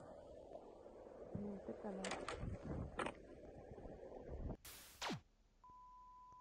тнт канал